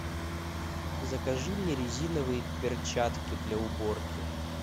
закажи мне резиновые перчатки для уборки